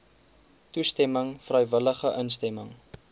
toestemming vrywillige instemming